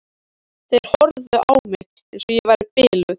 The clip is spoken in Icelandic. Þeir horfðu á mig eins og ég væri biluð.